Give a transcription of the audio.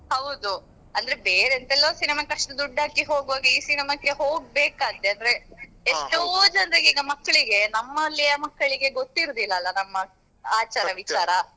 ಹೌದು ಅಂದ್ರೆ ಬೇರೆ ಎಂತ್ತೆಲ್ಲೋ cinema ಕ್ಕೆ ಅಷ್ಟು ದುಡ್ಡೆಲ್ಲ ಹಾಕಿ ಹೋಗುವಾಗ ಈ cinema ಕ್ಕೆ ಹೋಗ್ಬೇಕಂತೆ ಅಂದ್ರೆ ಎಷ್ಟೋ ಜನ್ರಿಗೆ ಈಗ ಮಕ್ಳಿಗೆ ನಮ್ಮಲ್ಲಿಯ ಮಕ್ಕಳಿಗೆ ಗೊತ್ತಿರುದಿಲ್ಲ ಅಲ ನಮ್ಮ ಆಚಾರ .